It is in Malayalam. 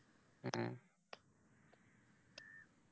എ